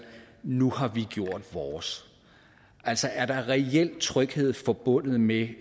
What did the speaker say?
nu har vi gjort vores altså er der reel tryghed forbundet med